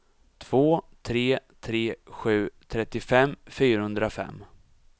två tre tre sju trettiofem fyrahundrafem